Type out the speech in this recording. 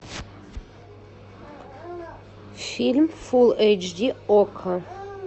фильм фул эйч ди окко